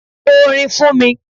Ko orin fún mi.